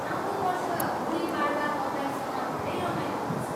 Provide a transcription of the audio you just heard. आउँदो वर्ष गुडी पाडवा तपाईँसँग धेरै रमाइलो हुने छ!